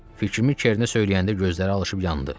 Fikrimi Kerinə söyləyəndə gözləri alışıb yandı.